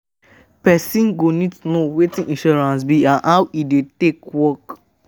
Person go need to know wetin insurance be and how e take dey work